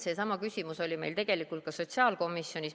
Seesama küsimus oli meil tegelikult ka sotsiaalkomisjonis.